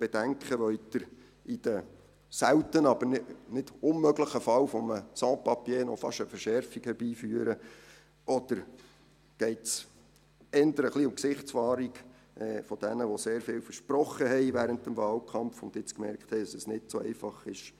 Wollen Sie im seltenen, aber nicht unmöglichen Fall eines Sans Papiers fast noch eine Verschärfung herbeiführen, oder geht es eher um die Gesichtswahrung für all jene, die während des Wahlkampfs sehr viel versprochen und jetzt gemerkt haben, dass es nicht so einfach ist?